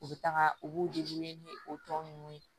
U bɛ taga u b'u ni o tɔ ninnu ye